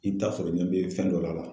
I bi taa sɔrɔ ɲɛ be fɛn dɔ la